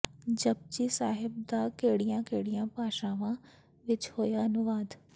ਜਪੁਜੀ ਸਾਹਿਬ ਦਾ ਕਿਹੜੀਆਂ ਕਿਹੜੀਆਂ ਭਾਸ਼ਾਵਾਂ ਵਿੱਚ ਹੋਇਆ ਅਨੁਵਾਦ